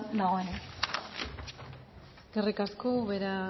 dagoenean eskerrik asko ubera